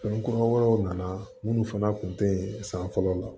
Fɛn kura wɛrɛw nana minnu fana kun te san fɔlɔ la